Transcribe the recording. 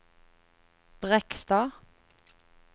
Brekstad